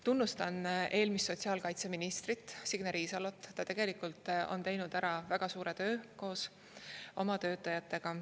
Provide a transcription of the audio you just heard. Tunnustan eelmist sotsiaalkaitseministrit Signe Riisalot, ta tegelikult on teinud ära väga suure töö koos oma töötajatega.